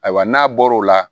Ayiwa n'a bɔr'o la